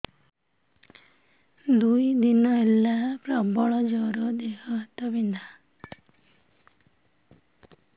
ଦୁଇ ଦିନ ହେଲା ପ୍ରବଳ ଜର ଦେହ ହାତ ବିନ୍ଧା